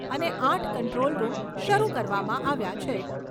અને આઠ control room શરૂ કરવામાં આવ્યા છે.